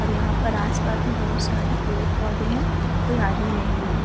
और यहाँ पर आस-पास में भी बहोत सारे पेड़-पौधे हैं। कोई आदमी भी नहीं है।